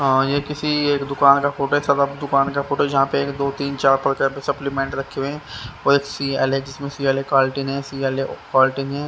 आ ये किसी एक दुकान का फोटो छपब दुकान का फोटो जहां पे एक दो तीन चार प्रकार के सप्लीमेंट रखे हुए है ।